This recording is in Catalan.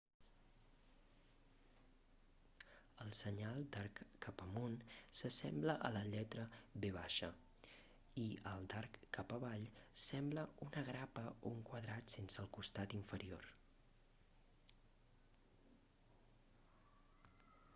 el senyal d'arc cap amunt s'assembla a la lletra v ve baixa i el d'arc cap avall sembla una grapa o un quadrat sense el costat inferior